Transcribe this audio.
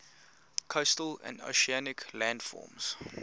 coastal and oceanic landforms